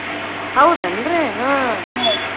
ಹೌದೇನ್ರಿ ಹಾ .